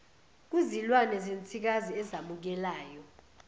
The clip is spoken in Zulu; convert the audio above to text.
kuzilwane zensikazi ezamukelayo